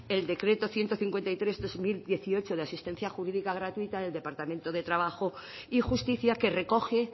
el decreto ciento cincuenta y tres barra dos mil dieciocho de asistencia jurídica gratuita del departamento de trabajo y justicia que recoge